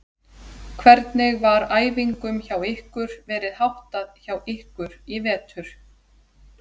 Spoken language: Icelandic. Hvernig var æfingum hjá ykkur verið háttað hjá ykkur í vetur?